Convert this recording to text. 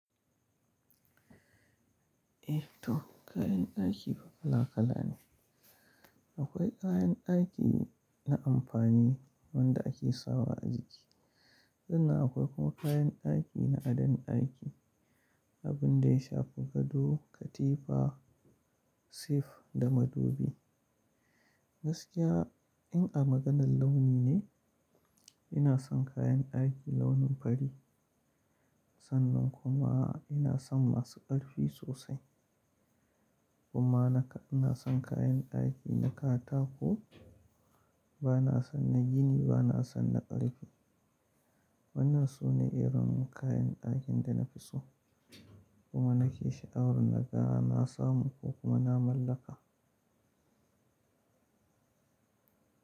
Eh to kayan ɗaki kala kala ne. Akwai kayan ɗaki na amfani wanda ake sawa a jiki, sannan akwai kuma kayan ɗaki na adon ɗaki, abun da ya shafi gado, katifa, sif da madubi. Gaskiya in a maganar launi ne, ina son kayan ɗaki launin fari, sannan kuma ina son masu ƙarfi sosai. Kuma naka ina son kayan ɗaki na katako, ba na son na gini ba na son na ƙarfe. Wannan su ne irin kayan ɗakin da na fi so kuma na ke sha'awar na ga, na samu ko kuma na mallaka.